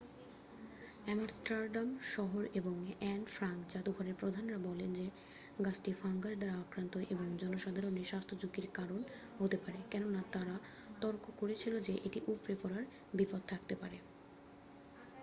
Amsterdam শহর এবং Anne Frank যাদুঘরের প্রধানরা বলেন যে গাছটি ফাঙ্গাস দ্বারা আক্রান্ত এবং জনসাধারণের স্বাস্থ্যঝুকির কারণ হতে পারে কেননা তারা তর্ক করেছিল যে এটি উপড়ে পড়ার বিপদ থাকতে পারে